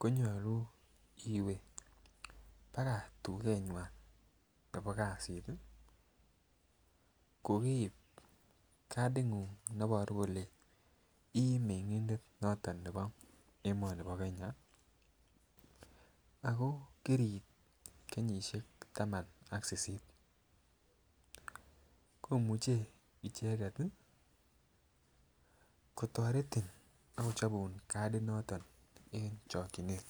konyolu iwee baka tukani bo kasini ko keib katinnguny neboru kele imengindet noton nebo emoni bo kenya ako kiriit kenyishek taman ak sisit komuche ichet tii kotoretin ak kochobun katit noton en chokinet.